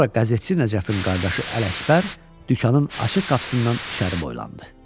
Sonra qəzetçi Nəcəfin qardaşı Ələkbər dükanın açıq qapısından içəri boylandı.